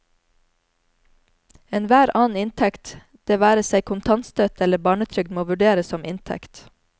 Enhver annen inntekt, det være seg kontantstøtte eller barnetrygd, må vurderes som inntekt.